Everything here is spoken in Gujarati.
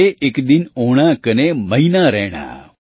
ચંબે ઇક દિન ઓણા કને મહીના રૈણા